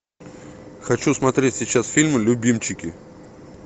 хочу смотреть сейчас фильм любимчики